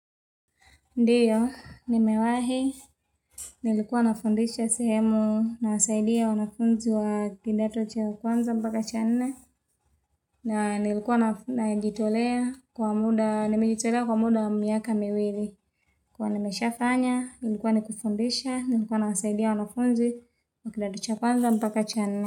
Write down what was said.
Ndiyo, nimewahi, nilikuwa nafundisha sehemu, nawasaidia wanafunzi wa kidato cha kwanza mpaka cha nne na nilikuwa najitolea kwa muda, nimejitolea kwa muda miaka miwili, nilikua nimeshafanya, ilikuwa ni kufundisha, nilikuwa nawasaidia wanafunzi wa kidato cha kwanza mpaka cha nne.